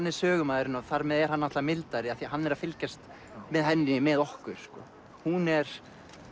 er sögumaðurinn og þar með er hann mildari af því hann er að fylgjast með henni með okkur hún er